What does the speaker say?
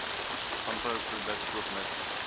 landbouproduk koop mits